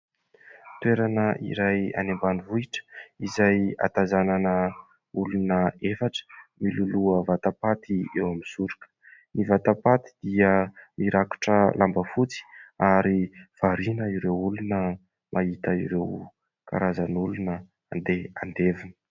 Toerana iray any ambanivohitra izay ahatazanana olona efatra miloloha vatapaty eo amin'ny soroka. Ny vatapaty dia mirakotra lamba fotsy ary variana ireo olona mahita ireo karazan'olona handeha handevina.